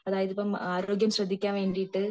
അതായത് ഇപ്പം ആരോഗ്യം ശ്രദ്ധിക്കാൻ വെണ്ടിട്ട്